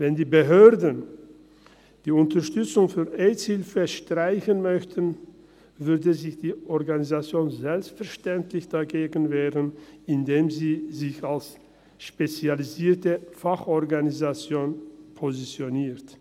Wenn die Behörden die Unterstützung für die «Aids Hilfe» streichen möchten, würde sich die Organisation selbstverständlich dagegen wehren, indem sie sich als spezialisierte Fachorganisation positioniert.